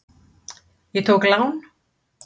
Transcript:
Ég tók lán.